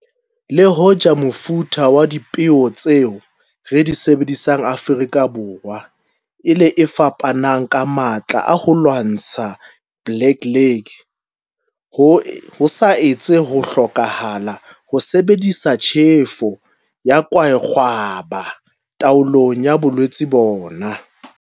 Le hoja mefuta ya dipeo tseo re di sebedisang Afrika Borwa e le e fapanang ka matla a ho lwantshana le Blackleg, ho sa ntse ho hlokahala ho sebedisa tjhefo ya kwaekgwaba taolong ya bolwetse bona.